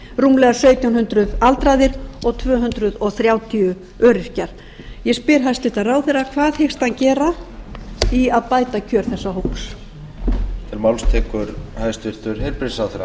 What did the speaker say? rúmlega sautján hundruð aldraðir og tvö hundruð þrjátíu öryrkjar ég spyr hæstvirtur ráðherra hvað hyggst hann gera í að bæta kjör þessa fólks